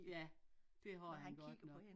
Ja det har han godt nok